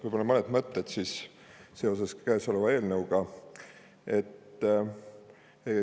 Võib-olla mõned mõtted seoses kõnealuse eelnõuga.